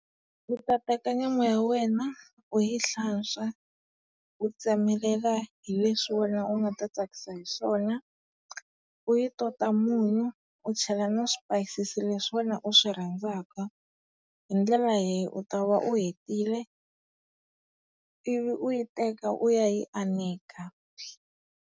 U ta teka nyama ya wena u yi hlantswa, u tsemelela hi leswi wena u nga ta tsakisa hi swona, u yi tota munyu, u chela na swipayisisi leswi wena u swi rhandzaka. Hi ndlela leyi u ta va u hetile. Ivi u yi teka u ya yi aneka.